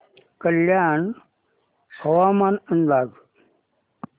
कल्याण हवामान अंदाज